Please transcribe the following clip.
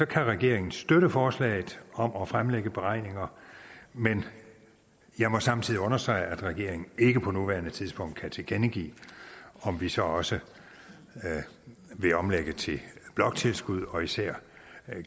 kan regeringen støtte forslaget om at fremlægge beregninger men jeg må samtidig understrege at regeringen ikke på nuværende tidspunkt kan tilkendegive om vi så også vil omlægge til bloktilskud og især